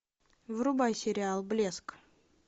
врубай сериал блеск